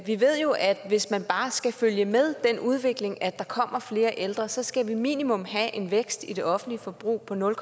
vi ved jo at hvis man bare skal følge med den udvikling at der kommer flere ældre så skal vi minimum have en vækst i det offentlige forbrug på nul